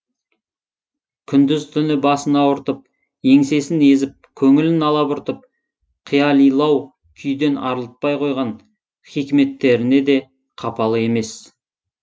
күндіз түні басын ауыртып еңсесін езіп көңілін алабұртып қиялилау күйден арылтпай қойған хикметтеріне де қапалы емес